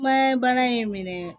Bana in minɛ